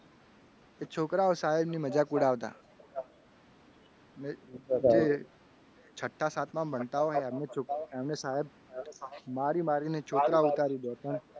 કે છોકરાઓ સાહેબની મજાક ઉડાડતા. ને એ છઠ્ઠા સાતમામાં ભણતા હોય. સાહેબ મારી મારીને ચોટલી ઉડાડી દેતા.